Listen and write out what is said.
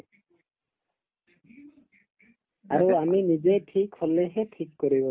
আৰু আমি নিজেই ঠিক হলেহে ঠিক কৰিব